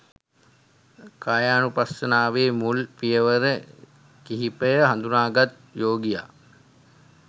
කායානුපස්සනාවේ මුල් පියවර කිහිපය හඳුනාගත් යෝගියා